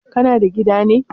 Kana da gida ne?